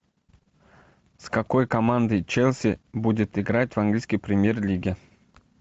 с какой командой челси будет играть в английской премьер лиге